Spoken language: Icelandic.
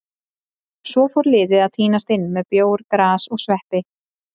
Svo fór liðið að tínast inn með bjór, gras og sveppi.